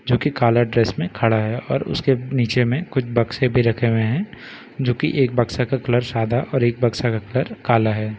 जो कि काला ड्रेस में खड़ा है और उसके नीचे में कुछ बक्से भी रखे हुए हैं जो कि एक बक्सा का कलर सादा और एक बक्सा का कलर काला है।